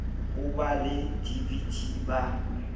ho ba le dvt ba